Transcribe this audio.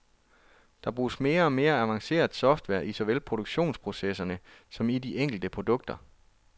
Der bruges mere og mere avanceret software i såvel produktionsprocesserne som i de enkelte produkter.